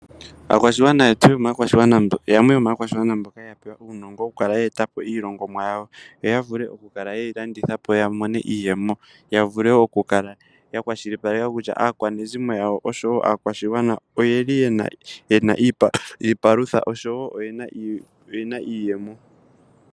Aakwashigwana yetu yamwe yomaakwashigwana mboka yena uunongo oku kala ye eta po iilongomwa yawo, yo ya vule oku kala ye yi landitha po ya mone iiyemo, ya vule oku kala ya kwashilipaleka kutya aakwanezimo yawo oshowo aakwashigwana oyeli yena iipalutha oshowo oyena iiyemo.